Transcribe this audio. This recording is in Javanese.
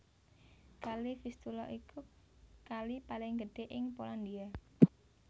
Kali Vistula iku kali paling gedhé ing Polandia